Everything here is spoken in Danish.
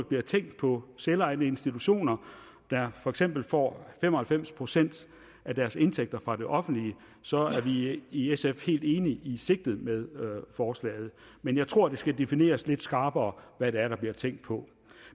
bliver tænkt på selvejende institutioner der for eksempel får fem og halvfems procent af deres indtægter fra det offentlige så er vi i sf helt enige i sigtet med forslaget men jeg tror at det skal defineres lidt skarpere hvad det er der bliver tænkt på